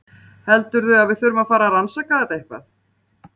Heldurðu að við þurfum að fara að rannsaka þetta eitthvað?